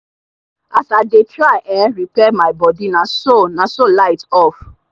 as i dey try um repair mi bodi naso naso light off